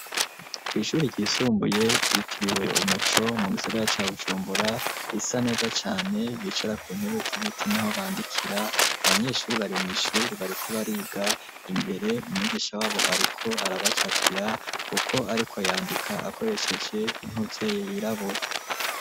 kw'ishuri ryisumbuye ryitiriwe Umuco mu gisagara ca Bujumbura risa neza cane bicara ku ntebe z'ibiti naho bandikira abanyeshuri bari mw'ishuri bariko bariga imbere umwigisha wabo ariko arabacapira kuko ariko yandika akoresheje intozeye yirabura.